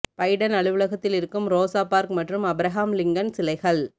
Biden அலுவலகத்தில் இருக்கும் Rosa Park மற்றும் அப்ரஹாம் லிங்கன் சிலைகள்